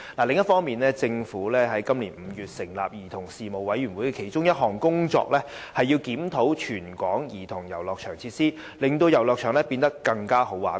另一方面，政府於今年5月成立的兒童事務委員會的其中一項工作，是檢討全港兒童遊樂場的設計，令遊樂場變得"更好玩"。